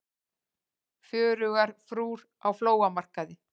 Fjörugar frúr á flóamarkaði